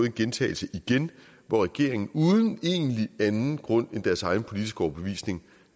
en gentagelse hvor regeringen uden egentlig anden grund end deres egen politiske overbevisning